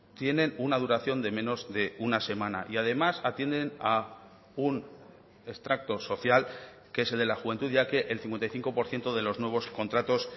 tienen una duración de menos de una semana y además atienden a un extracto social que es el de la juventud ya que el cincuenta y cinco por ciento de los nuevos contratos